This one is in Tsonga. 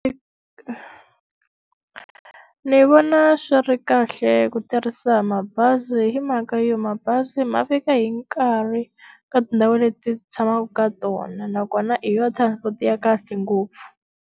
Ni vona swi ri kahle ku tirhisa mabazi hi mhaka yo mabazi ma fika hi nkarhi, ka tindhawu leti hi tshamaka ka tona nakona i yona transport ya kahle ngopfu.